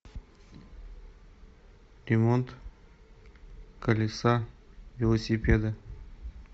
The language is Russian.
ремонт колеса велосипеда